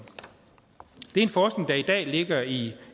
det er en forskning der i dag ligger i